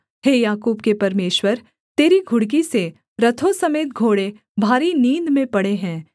हे याकूब के परमेश्वर तेरी घुड़की से रथों समेत घोड़े भारी नींद में पड़े हैं